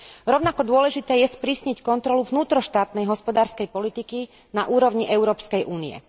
Rovnako dôležité je sprísniť kontrolu vnútroštátnej hospodárskej politiky na úrovni Európskej únie.